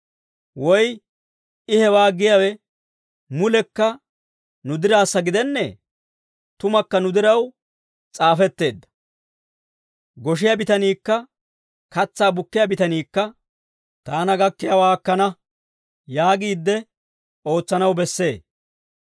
Woy I hewaa giyaawe mulekka nu diraassa gidennee? Tumakka nu diraw s'aafetteedda; goshiyaa bitaniikka katsaa bukkiyaa bitaniikka, «Taana gakkiyaawaa akkana» yaagiidde ootsanaw bessee.